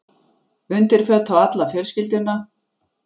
Undirföt á alla fjölskylduna.